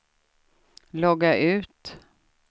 logga ut